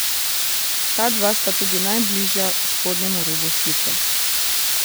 Ta dva sta tudi najbližja spodnjemu robu slike.